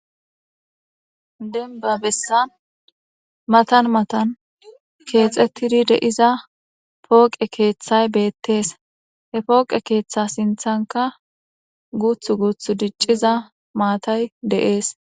denba bessan matan matan keexettidi deiza pooqe keeththay beettees he pooqe keeththa sinthanka guuth guuth dicciza maatay deees